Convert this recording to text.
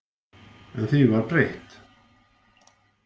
En því var breytt.